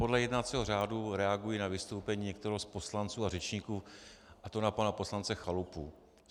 Podle jednacího řádu reaguji na vystoupení některého z poslanců a řečníků, a to na pana poslance Chalupu.